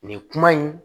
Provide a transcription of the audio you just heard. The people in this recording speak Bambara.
Nin kuma in